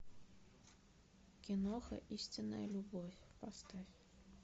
киноха истинная любовь поставь